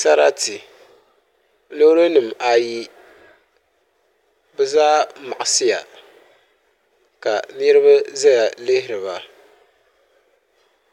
Sarati loori nim ayi bi zaa maɣasiya ka niraba ʒɛya lihiriba